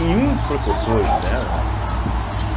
E um dos professores dela, né, que né que